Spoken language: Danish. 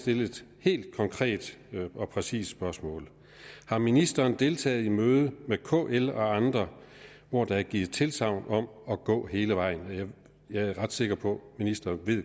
stille et helt konkret og præcist spørgsmål har ministeren deltaget i møde med kl og andre hvor der er givet tilsagn om at gå hele vejen jeg er ret sikker på at ministeren